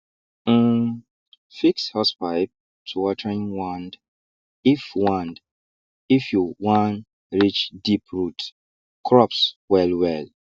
um fix hosepipe to watering wand if wand if you wan reach deep root crops well well